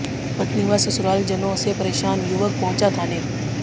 पत्नी व ससुरालजनों से परेशान युवक पहुंचा थाने